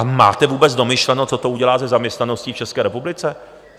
A máte vůbec domyšleno, co to udělá se zaměstnaností v České republice?